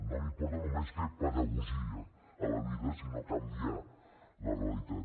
no m’importa només fer pedagogia a la vida sinó canviar la realitat